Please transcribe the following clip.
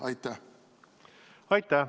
Aitäh!